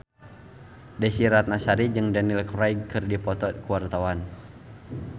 Desy Ratnasari jeung Daniel Craig keur dipoto ku wartawan